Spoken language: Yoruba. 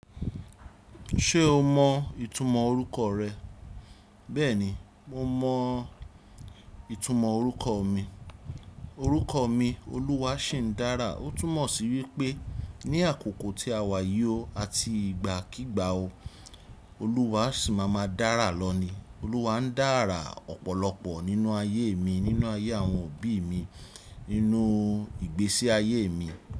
Ṣé o mọ ìtumọ̀ orúkọ rẹ? Bẹ́ẹ̀ni, mo mọ ìtumọ̀ orúkọ mi. Orúkọ mi “Olúwàṣìndára” ó túmọ̀ sí wípé ní àkókò tí a wà yí o àti ìgbàkígbà o, Olúwa sì máa ma dára lọ ni. Olúwa ń dára ọ̀pọ̀lọpọ̀ nínú ayé mi, nínú ayé àwọn òbí mi, nínú ìgbésí ayé mi.